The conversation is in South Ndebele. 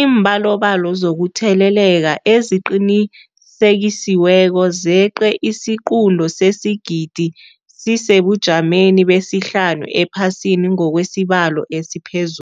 Iimbalobalo zokutheleleka eziqinisekisiweko zeqe isiquntu sesigidi, sisesebujameni besihlanu ephasini ngokwesibalo esiphezu